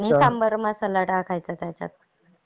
आणि सांबर मसाला टाकायचा त्याच्यात.